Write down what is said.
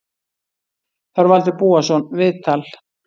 Þorvaldur Búason, viðtal